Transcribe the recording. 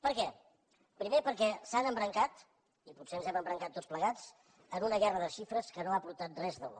per què primer perquè s’han embrancat i potser ens hem embrancat tots plegats en una guerra de xifres que no ha aportat res de bo